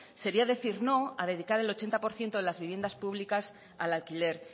sería decir no a dedicar el ochenta por ciento de las viviendas públicas al alquiler